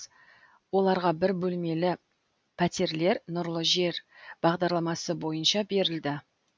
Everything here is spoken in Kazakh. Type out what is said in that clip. оларға бір бөлмелі пәтерлер нұрлы жер бағдарламасы бойынша берілді